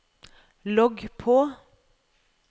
logg på